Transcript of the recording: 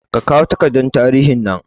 Kakawo takardar tarihin nan